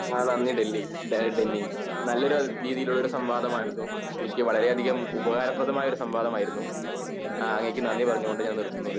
അഹ് നന്ദി ടെല്ലി ഏഹ് ടെന്നി നല്ലൊരു രീതിയിൽ ഉള്ള ഒരു സംവാദം ആയിരുന്നു എനിക്ക് വളരെ അതികം ഉപകാരപ്രദമായ സംവാദമായിരുന്നു ആഹ് അങ്ങേയ്ക്ക് നന്ദി പറഞ്ഞുകൊണ്ട് നിർത്തുന്നു